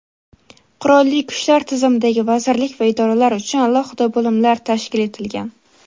Qurolli Kuchlar tizimidagi vazirlik va idoralar uchun alohida bo‘limlar tashkil etilgan.